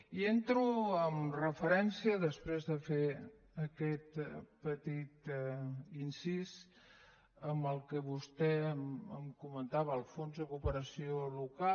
i entro en referència després de fer aquest petit incís en el que vostè em comentava el fons de cooperació local